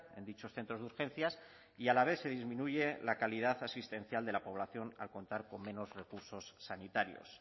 en dichos centros de urgencias y a la vez se disminuye la calidad asistencial de la población al contar con menos recursos sanitarios